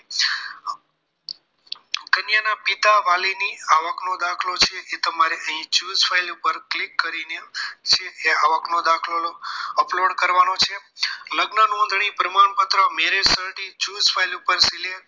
કન્યાના પિતા વાલીની આવકનો દાખલો છે એ તમારે અહીં choose file ઉપર click કરીને છે એ આવકનો દાખલો upload કરવાનો છે લગ્ન નોંધણી પ્રમાણપત્ર marriage cert choose file ઉપર select કરી